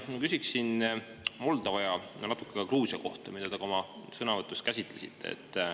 Ma küsiksin Moldova ja natuke ka Gruusia kohta, mida te ka oma sõnavõtus käsitlesite.